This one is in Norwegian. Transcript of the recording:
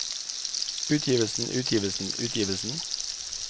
utgivelsen utgivelsen utgivelsen